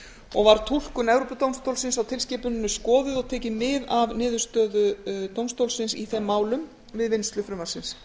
og var túlkun evrópudómstólsins á tilskipuninni skoðuð og tekið mið af niðurstöðu dómstólsins í þeim málum við vinnslu frumvarpsins